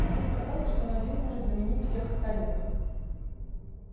порой казалось что он один может заменить всех остальных